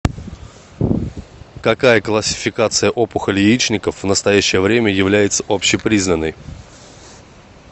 какая классификация опухолей яичников в настоящее время является общепризнанной